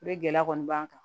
Ni gɛlɛya kɔni b'an kan